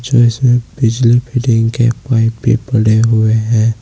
जैसे बिजली फिटिंग के पाइप भी पड़े हुए हैं।